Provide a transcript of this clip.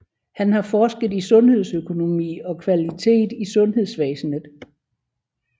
Han har forsket i sundhedsøkonomi og kvalitet i sundhedsvæsenet